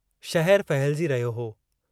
शहरु फहिलजी रहियो हो।